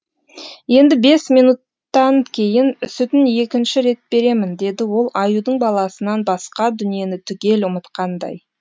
енді бес минуттан кейін сүтін екінші рет беремін деді ол аюдың баласынан басқа дүниені түгел ұмытқандай